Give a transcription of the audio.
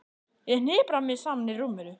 Ég hnipra mig saman í rúminu.